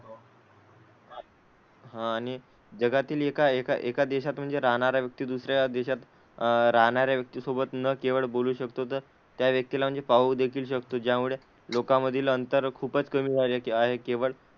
हां आणि जगातील एका एका एका देशात म्हणजे राहणारा व्यक्ती दुसऱ्या देशात अह राहणाऱ्या व्यक्ती सोबत न केवळ बोलू शकतो, तर त्या व्यक्तीला म्हणजे पाहू देखील शकतो, ज्यामुळे लोकांमधील अंतर खूपच कमी झाली आहे. केवळ,